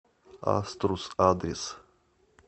аструс адрес